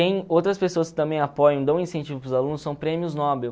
outras pessoas que também apoiam, e dão incentivo para os alunos, são prêmios Nobel.